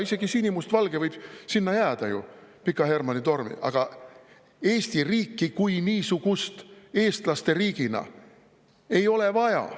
Isegi sinimustvalge võib sinna Pika Hermanni torni jääda ju, aga Eesti riiki kui niisugust, eestlaste riiki ei ole vaja.